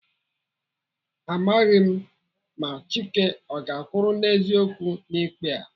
Amaghị m ma Chike ọ ga-akwụrụ n'eziokwu n'ikpe a.